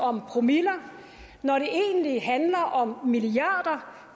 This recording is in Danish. om promiller når det egentlig handler om milliarder